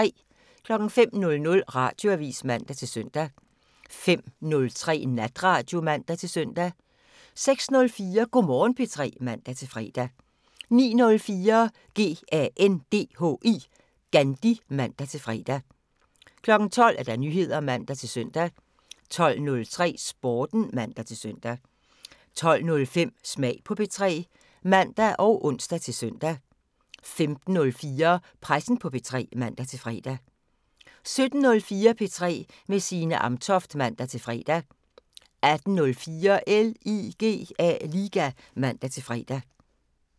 05:00: Radioavisen (man-søn) 05:03: Natradio (man-søn) 06:04: Go' Morgen P3 (man-fre) 09:04: GANDHI (man-fre) 12:00: Nyheder (man-søn) 12:03: Sporten (man-søn) 12:05: Smag på P3 (man og ons-søn) 15:04: Pressen på P3 (man-fre) 17:04: P3 med Signe Amtoft (man-fre) 18:04: LIGA (man-fre)